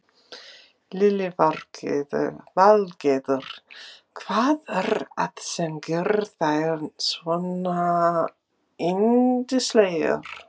Lillý Valgerður: Hvað er að sem gerir þær svona yndislegar?